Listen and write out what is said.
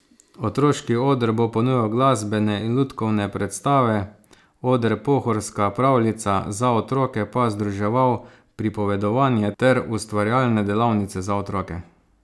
Otroški oder bo ponujal glasbene in lutkovne predstave, oder Pohorska pravljica za otroke pa združeval pripovedovanje ter ustvarjalne delavnice za otroke.